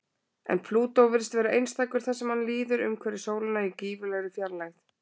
En Plútó virðist vera einstakur þar sem hann líður umhverfis sólina í gífurlegri fjarlægð.